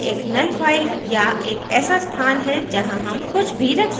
यह एक null file या एक ऐसा स्थान है जहां dump कुछ भी रख कर सकते हैं